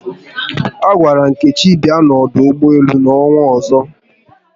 A gwara Nkechi bịa n'ọdụ ụgbọelu n'ọnwa ọzọ